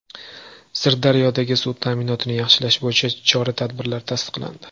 Sirdaryodagi suv ta’minotini yaxshilash bo‘yicha chora-tadbirlar tasdiqlandi.